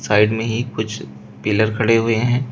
Side में ही कुछ पिलर खड़े हुए हैं।